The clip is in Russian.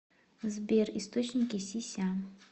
сбер источники си ся